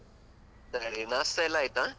ಸರಿ, ನಾಷ್ಟ ಎಲ್ಲ ಆಯ್ತಾ?